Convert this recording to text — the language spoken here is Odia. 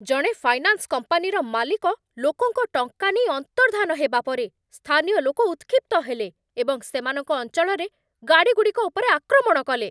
ଜଣେ ଫାଇନାନ୍ସ କମ୍ପାନୀର ମାଲିକ ଲୋକଙ୍କ ଟଙ୍କା ନେଇ ଅନ୍ତର୍ଦ୍ଧାନ ହେବା ପରେ, ସ୍ଥାନୀୟ ଲୋକ ଉତ୍କ୍ଷିପ୍ତ ହେଲେ ଏବଂ ସେମାନଙ୍କ ଅଞ୍ଚଳରେ ଗାଡ଼ିଗୁଡ଼ିକ ଉପରେ ଆକ୍ରମଣ କଲେ।